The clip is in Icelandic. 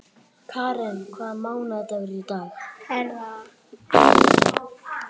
Karen, hvaða mánaðardagur er í dag?